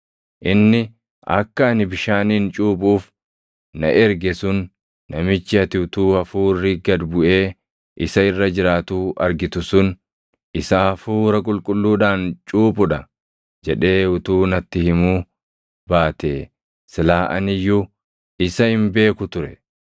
Inni akka ani bishaaniin cuuphuuf na erge sun, ‘Namichi ati utuu Hafuurri gad buʼee isa irra jiraatuu argitu sun, isa Hafuura Qulqulluudhaan cuuphu dha’ jedhee utuu natti himuu baatee silaa ani iyyuu isa hin beeku ture.